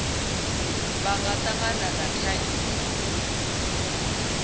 vha nga tangana na thaidzo